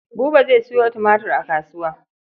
Buba zai sayo tumatir a kasuwa.